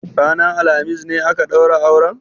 Ranan alhamis ne aka ɗaura auren?